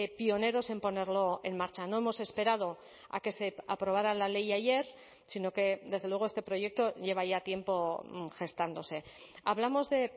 pioneros en ponerlo en marcha no hemos esperado a que se aprobara la ley ayer sino que desde luego este proyecto lleva ya tiempo gestándose hablamos de